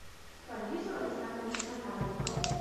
парвизу александровичу захарову